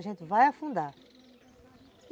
A gente vai afundar.